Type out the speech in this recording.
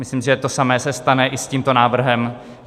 Myslím, že to samé se stane i s tímto návrhem.